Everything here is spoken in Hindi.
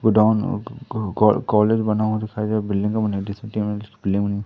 गोडाउन को कॉल कॉलेज बना हुआ दिखाई दे रहा बिल्डिंगे बनी देख सकते